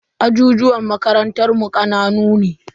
Ajijuwan makarantan mu kanana ne.